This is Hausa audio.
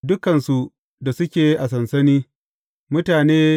Dukansu da suke a sansani, mutane ne.